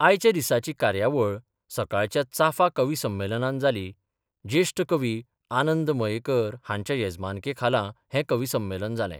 आयच्या दिसाची कार्यावळ सकाळच्या चाफा कविसंमेलनान जाली ज्येष्ठ कवी आनंद मयेकर हांच्या येजमानके खाला हे कवी संमेलन जाले.